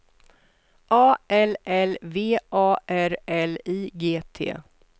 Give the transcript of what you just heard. A L L V A R L I G T